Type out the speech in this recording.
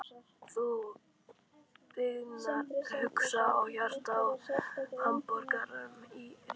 Þú byggðin huga og hjarta á hamraborgum rís.